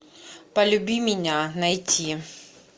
полюби меня найти